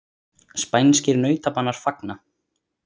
Spænskir nautabanar fagna